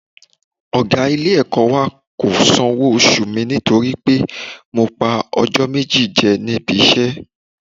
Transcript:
Ọ̀gá ilé-ẹ̀kọ́ wa kò sanwó oṣù mi nítorí pé mo pa ọjọ́ méjì jẹ níbi iṣẹ́